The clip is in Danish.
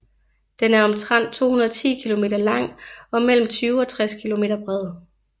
Den er omtrent 210 km lang og mellem 20 og 60 km bred